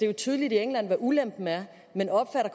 jo tydeligt i england hvad ulempen er